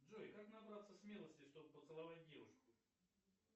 джой как набраться смелости чтобы поцеловать девушку